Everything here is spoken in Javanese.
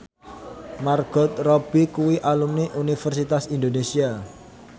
Margot Robbie kuwi alumni Universitas Indonesia